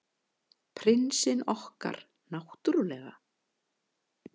Prinsinn okkar, náttúrlega.